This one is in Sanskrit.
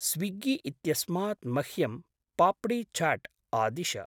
स्विग्गी इत्यस्मात् मह्यं पाप्डी छाट् आदिश।